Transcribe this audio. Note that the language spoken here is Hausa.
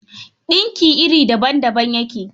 Ɗinki iri daban-daban yake.